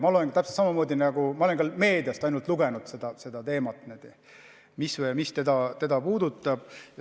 Ma olen ka ainult meediast lugenud selle teema kohta, mis teda puudutab.